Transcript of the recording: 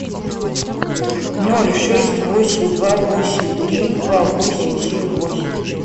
ноль шесть восемь два восемь три два восемь семь восемь